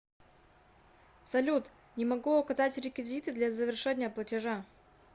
салют не могу указать реквизиты для завершения платежа